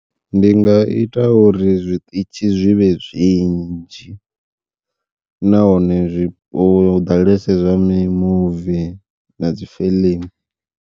Ndi nga ita uri zwiṱitshi zwivhe zwinzhi, nahone zwi hu ḓalese zwa mimuvi na dzi fiḽimu.